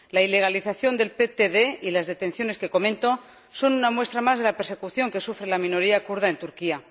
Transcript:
La ilegalización del DTP y las detenciones que comento son una muestra más de la persecución que sufre la minoría kurda en Turquía.